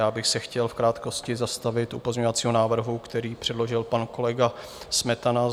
Já bych se chtěl v krátkosti zastavit u pozměňovacího návrhu, který předložil pan kolega Smetana.